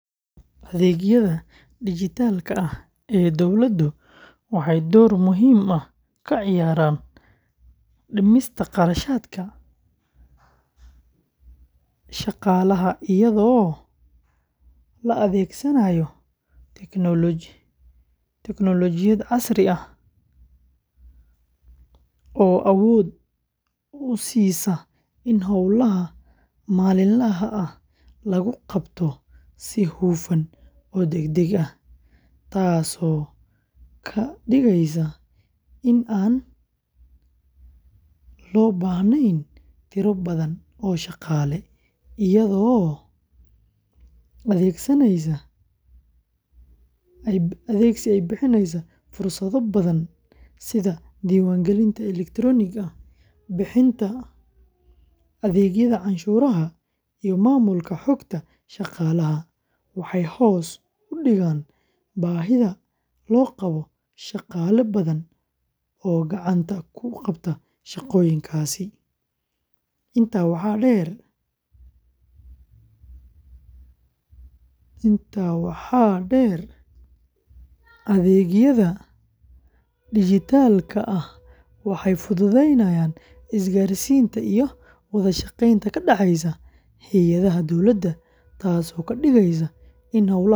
Adeegyada dijitaalka ah ee dowladdu waxay door muhiim ah ka ciyaaraan dhimista kharashaadka shaqaalaha iyadoo la adeegsanayo teknoolojiyadda casriga ah oo awood u siisa in hawlaha maalinlaha ah lagu qabto si hufan oo degdeg ah, taasoo ka dhigaysa in aan loo baahnayn tiro badan oo shaqaale ah. Iyadoo adeegyadaasi ay bixiyaan fursado badan sida diiwaangelinta elektaroonigga ah, bixinta adeegyada canshuuraha, iyo maamulka xogta shaqaalaha, waxay hoos u dhigaan baahida loo qabo shaqaale badan oo gacanta ku qabta shaqooyinkaasi. Intaa waxaa dheer, adeegyada dijitaalka ah waxay fududeeyaan isgaarsiinta iyo wada shaqaynta ka dhexeysa hay’adaha dowladda, taasoo ka dhigaysa in hawlaha maamulka la qabto si degdeg ah.